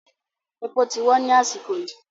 Èpò ti wọ́n ni àsìkò yìí